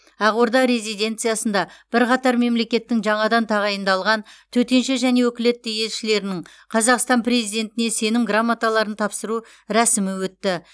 ақорда резиденциясында бірқатар мемлекеттің жаңадан тағайындалған төтенше және өкілетті елшілерінің қазақстан президентіне сенім грамоталарын тапсыру рәсімі өтті